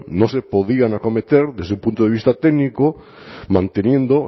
no se podían acometer desde un punto de vista técnico manteniendo